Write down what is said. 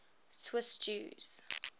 swiss jews